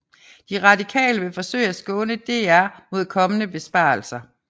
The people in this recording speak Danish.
De Radikale vil forsøge at skåne DR mod kommende besparelser